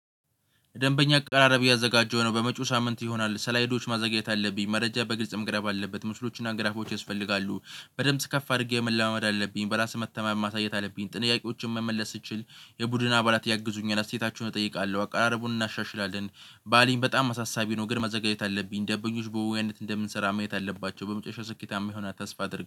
ደንበኛ አቀራረብ እያዘጋጀሁ ነው በመጪው ሳምንት ይሆናል ሰላይዶች ማዘጋጀት አለብኝ መረጃ በግልጽ መቅረብ አለበት ምስሎችና ግራፎች ያስፈልጋሉ። በድምጽ ከፍ አድርጌ መለማመድ አለብኝ በራስ መተማመን ማሳየት አለብኝ ጥንያቄዎችን መመለስ ስችል። የቡድን አባላት ያግዙኛል አስተያየታችሁን እጠይቃለሁ አቀራረቡን እናሻሽላለን። ባለኝ በጣም አሳሳቢ ነው። ግን መዘጋጀት አለብኝ። ደምበኞች በየዋህነት እንደምንሰራ ማየት አለባቸው። በመጨረሻ ስኬታማ ይሆናል ተስፋ አድርጌ